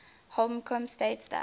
holcombe states that